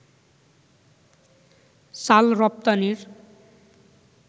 চাল রপ্তানির